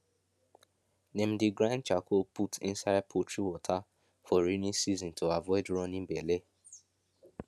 dem dey grind charcoal put inside poultry water for rainy season to avoid running belle